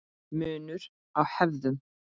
Munur á hefðum